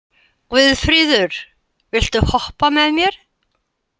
Guðfríður, viltu hoppa með mér?